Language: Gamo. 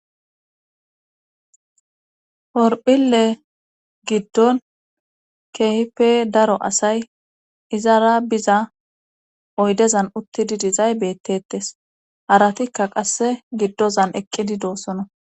Porphile giddon kehipe daro asay izara biza oydezan uttidi dizay beettettes haratikka qasse giddozan eqqidi doossona